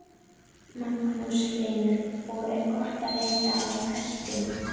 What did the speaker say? Magnús Hlynur: Og er gott að leita á hestum?